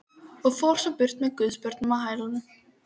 Og fór svo burt með guðsbörnin á hælunum.